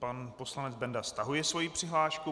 Pan poslanec Benda stahuje svoji přihlášku.